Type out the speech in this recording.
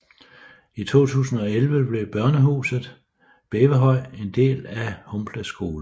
I 2011 blev Børnehuset Rævehøj en del af Humble Skole